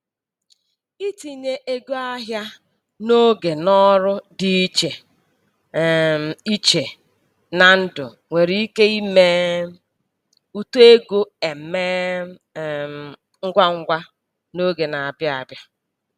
Itinye ego ahịa n'oge n'ọrụ dị iche um iche na ndụ nwere ike ime uto ego emee um ngwa ngwa n'oge na-abịa abịa.